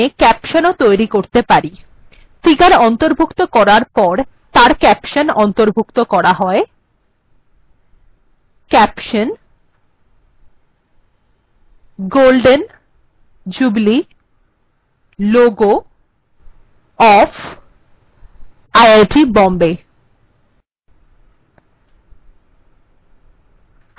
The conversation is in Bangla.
আমি এখানে ক্যাপশন্ও তৈরী করতে পারি ফিগার্ অন্তর্ভুক্ত করার পর তার ক্যাপশন্ অন্তর্ভুক্ত করা হয় caption golden jubilee logo of iit bombay